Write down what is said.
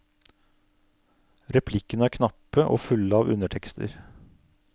Replikkene er knappe og fulle av undertekster.